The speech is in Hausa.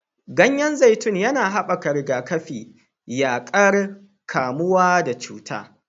Ganyen zaitun yana haɓaka rigakafi, yaƙar kamuwa da cuta.